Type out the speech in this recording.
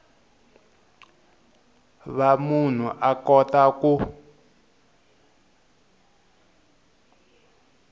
va munhu a kota ku